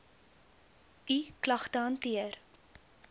u klagte hanteer